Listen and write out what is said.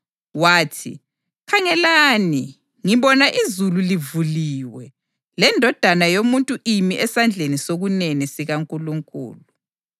Wathi, “Khangelani, ngibona izulu livuliwe leNdodana yoMuntu imi esandleni sokunene sikaNkulunkulu.”